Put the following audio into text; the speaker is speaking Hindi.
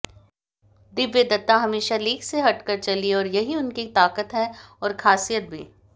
दिव्या दत्ता हमेशा लीक से हटकर चलीं और यही उनकी ताकत है और खासियत भी